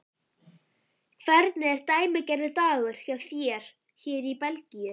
Hvernig er dæmigerður dagur hjá þér hér í Belgíu?